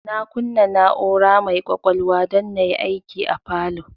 Na kunna na'ura mai kwakwalwa don na yi aiki a falow